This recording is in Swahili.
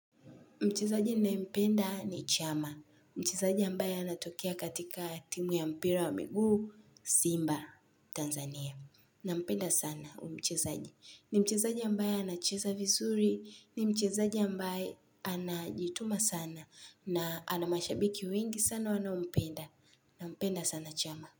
Mchezaji ninayempenda ni chama. Mchezaji ambaye anatokea katika timu ya mpira wa miguu Simba, Tanzania. Nampenda sana huyu mchezaji. Ni mchezaji ambaye anacheza vizuri, ni mchezaji ambaye anajituma sana na anamashabiki wengi sana wanaompenda. Nampenda sana chama.